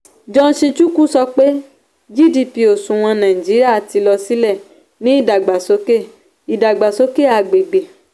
johnson chukwu sọ pé gdp òṣùwọ̀n nàìjíríà ti lọ sílẹ̀ ní idàgbàsókè idàgbàsókè agbègbè.